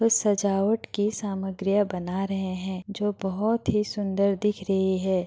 ये सजावट की सामग्रियां बना रहे है जो बोहत ही सुन्दर दिख रही है ।